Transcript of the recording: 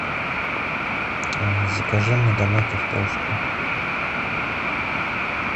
закажи мне домой картошку